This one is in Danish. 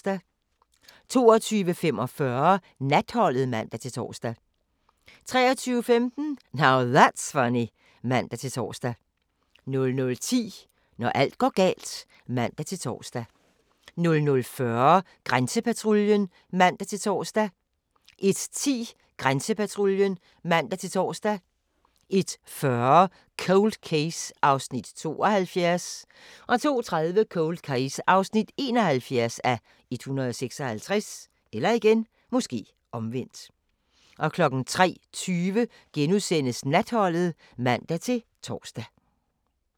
22:45: Natholdet (man-tor) 23:15: Now That's Funny (man-tor) 00:10: Når alt går galt (man-tor) 00:40: Grænsepatruljen (man-tor) 01:10: Grænsepatruljen (man-tor) 01:40: Cold Case (72:156) 02:30: Cold Case (71:156) 03:20: Natholdet *(man-tor)